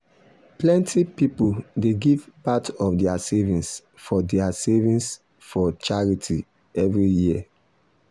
plenty people dey give part of their savings for their savings for charity every year.